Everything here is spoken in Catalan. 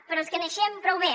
però els coneixem prou bé